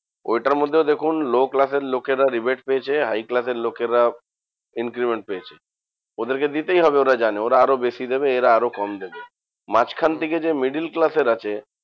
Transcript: ঐটার মধ্যেও দেখুন low class এর লোকেরা rebate পেয়েছে high class এর লোকেরা increment পেয়েছে। ওদেরকে দিতেই হবে ওরা জানে ওরা আরও বেশি দেবে এরা আরো কম দেবে। মাঝখান থেকে যে middle class এর আছে